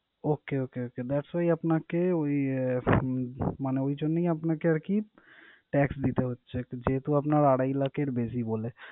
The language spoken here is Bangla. Okay, okay, okay that's why আপনাকে ওই আহ মানে ওই জন্যই আপনাকে আরকি tax দিতে হচ্ছে একটা, যেহেতু আপনার আড়াই লাখের বেশি বললেন।